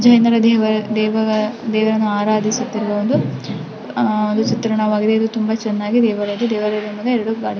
ಈ ದೇವರನ್ನ ದೇವರನ್ನದೇವರನ್ನು ಆರಾಧಿಸುತ್ತಿರುವವೊಂದು ಆ ಚಿತ್ರಣವಿಗ್ಗಿದೆ ಇದು ತುಂಬ ಚೆನ್ನಾಗಿದೆ --.